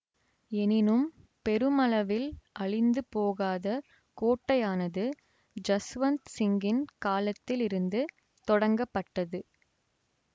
எனினும் பெருமளவில் அழிந்து போகாத கோட்டையானது ஜஸ்வந் சிங்கின் காலத்தில் இருந்து தொடங்கப்பட்டது